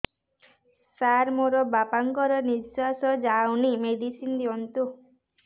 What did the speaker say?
ସାର ମୋର ବାପା ଙ୍କର ନିଃଶ୍ବାସ ଯାଉନି ମେଡିସିନ ଦିଅନ୍ତୁ